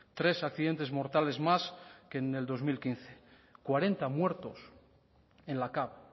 tres accidentes mortales más que en el dos mil quince cuarenta muertos en la cav